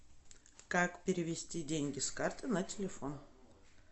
как перевести деньги с карты на телефон